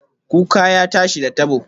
Kuka ya tashi, da tabo